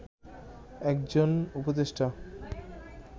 একজন উপদেষ্টা